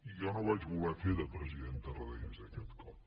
jo no vaig voler fer de president tarradellas aquest cop